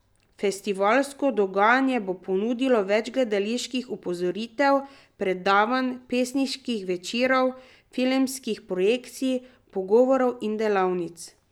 Festivalsko dogajanje bo ponudilo več gledaliških uprizoritev, predavanj, pesniških večerov, filmskih projekcij, pogovorov in delavnic.